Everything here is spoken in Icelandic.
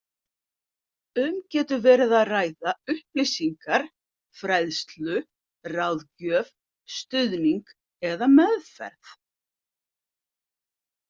Um getur verið að ræða upplýsingar, fræðslu, ráðgjöf, stuðning eða meðferð.